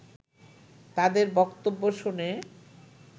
তাদের বক্তব্য শুনে